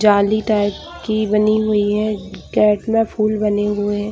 जाली टाइप की बनी हुई है कैट में फूल बने हुए हैं।